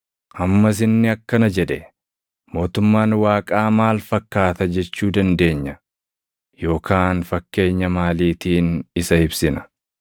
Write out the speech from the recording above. Ammas inni akkana jedhe; “Mootummaan Waaqaa maal fakkaata jechuu dandeenya? Yookaan fakkeenya maaliitiin isa ibsina?